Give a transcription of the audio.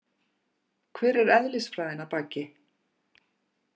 Hver er eðlisfræðin að baki?